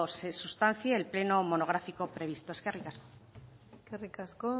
se sustancie el pleno monográfico previsto eskerrik asko eskerrik asko